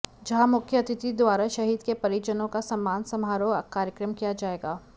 जहां मुख्य अतिथि द्वारा शहीद के परिजनों का सम्मान समारोह कार्यक्रम किया जाएगा